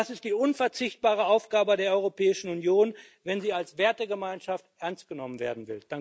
Das ist die unverzichtbare Aufgabe der Europäischen Union, wenn sie als Wertegemeinschaft ernst genommen werden